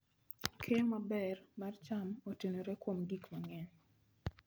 Keyo maber mar cham otenore kuom gik mang'eny.